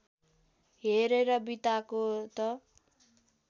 हेरेर बिताको त